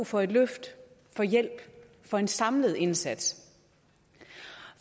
for et løft for hjælp for en samlet indsats